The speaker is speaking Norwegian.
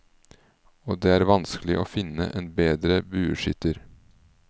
Og det er vanskelig å finne en bedre bueskytter.